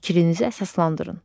Fikrinizə əsaslandırın.